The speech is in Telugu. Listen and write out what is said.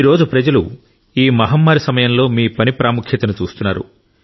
ఈ రోజు ప్రజలు ఈ మహమ్మారి సమయంలో మీ పని ప్రాముఖ్యతను చూస్తున్నారు